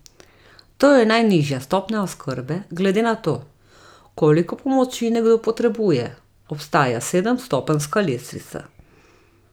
To je najnižja stopnja oskrbe, glede na to, koliko pomoči nekdo potrebuje, obstaja sedemstopenjska lestvica.